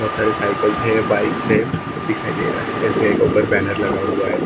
बहुत सारे साइकल्स हैं बाइक्स हैं दिखाई दे रहा है एस_बी_आई का ऊपर बैनर लगा हुआ है अ--